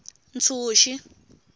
ntshuxi